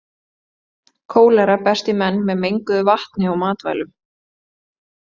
Kólera berst í menn með menguðu vatni og matvælum.